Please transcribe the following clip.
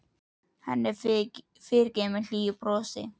Henni er fyrirgefið með hlýju brosi.